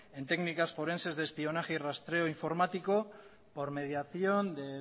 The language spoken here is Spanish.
en técnicas forenses de espionaje y rastreo informático por mediación de